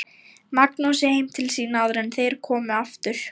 Magnúsi heim til sín áður en þeir komu aftur.